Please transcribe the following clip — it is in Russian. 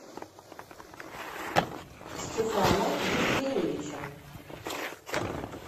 стефана евгеньевича